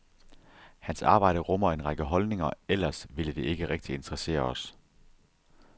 Hans arbejde rummer en række holdninger, ellers ville det ikke rigtig interessere os.